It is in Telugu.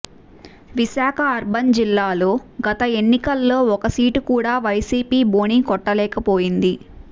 విశాఖ అర్బన్ జిల్లాలో గత ఎన్నికల్లో ఒక్క సీటు కూడా వైసీపీ బోణీ కొట్టలేకపోయింది